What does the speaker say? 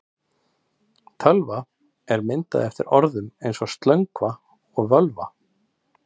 Tölva er myndað eftir orðum eins og slöngva og völva.